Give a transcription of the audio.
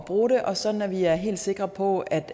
bruge det og sådan at vi er helt sikre på at